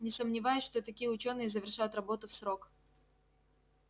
не сомневаюсь что такие учёные завершат работу в срок